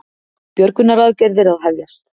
Björgunaraðgerðir að hefjast